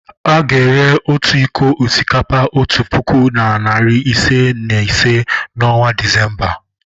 A ga-ere otu iko osikapa otu puku na narị ise na ise n'ọnwa Disemba.